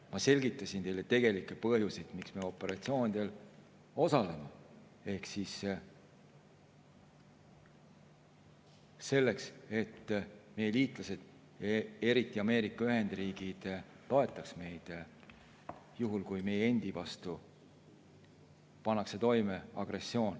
Ma selgitasin teile tegelikke põhjuseid, miks me operatsioonidel osaleme: selleks, et meie liitlased, eriti Ameerika Ühendriigid, toetaks meid juhul, kui meie endi vastu pannakse toime agressioon.